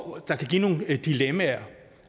der kan give nogle dilemmaer